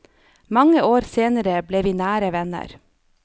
Mange år senere ble vi nære venner.